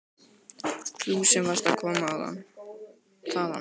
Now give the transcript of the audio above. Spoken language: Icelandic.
Þú sem varst að koma þaðan.